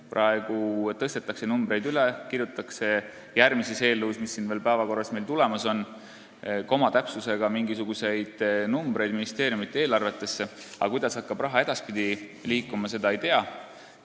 Praegu tõstetakse numbreid üle, kirjutatakse järgmises eelnõus, mis meil päevakorras tuleb, komakoha täpsusega mingisuguseid numbreid ministeeriumide eelarvetesse, aga kuidas hakkab raha edaspidi liikuma, seda ei tea.